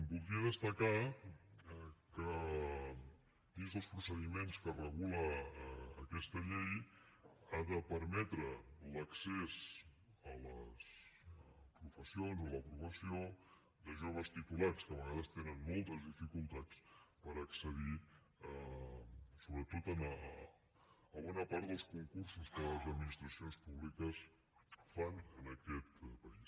voldria destacar que dins dels procediments que regula aquesta llei ha de permetre l’accés a les professions o a la professió de joves titulats que a vegades tenen moltes dificultats per accedir sobretot a bona part dels concursos que les administracions públiques fan en aquest país